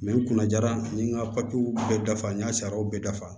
n kunna jara n ye n ka bɛɛ dafa n ka sariyaw bɛɛ dafa